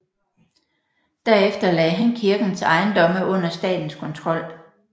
Derefter lagde han kirkens ejendomme under statens kontrol